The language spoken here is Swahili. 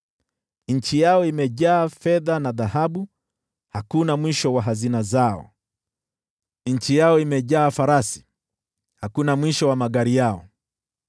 Nchi yao imejaa fedha na dhahabu, hakuna mwisho wa hazina zao. Nchi yao imejaa farasi, hakuna mwisho wa magari yao.